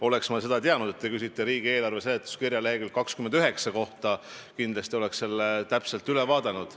Oleks ma teadnud, et te küsite riigieelarve seletuskirja lehekülje 29 kohta, oleksin selle kindlasti täpselt üle vaadanud.